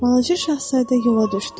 Balaca şahzadə yola düşdü.